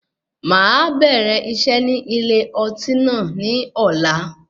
Máa bẹ̀rẹ̀ iṣẹ́ ní ilé ọtí náà ni ọ̀la.